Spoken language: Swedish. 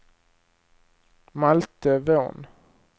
Malte Von